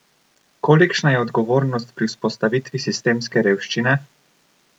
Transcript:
Kolikšna je odgovornost pri vzpostavitvi sistemske revščine?